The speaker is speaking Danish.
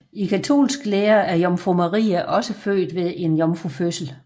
I katolsk lære er Jomfru Maria også født ved en jomfrufødsel